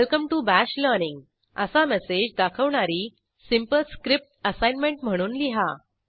welcome to bash learning असा message दाखवणारी simple script assignment म्हणून लिहा